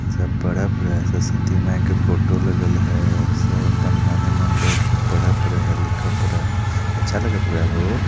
सब पढ़त है सरस्वती माई के फोटो लागल है सब अपने मने-मने बैठ के पड़त है लिखपर है अच्छा लगे पूरा हो।